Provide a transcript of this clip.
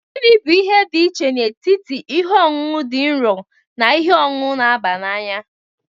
Gini bu ihe dị iche n'etiti ihe ọṅụṅụ dị nro na ihe ọṅụṅụ na-aba n'anya?